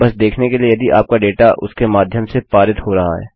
बस देखने के लिए यदि आपका डेटा उसके माध्यम से पारित हो रहा है